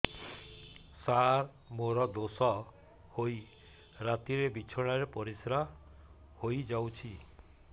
ସାର ମୋର ଦୋଷ ହୋଇ ରାତିରେ ବିଛଣାରେ ପରିସ୍ରା ହୋଇ ଯାଉଛି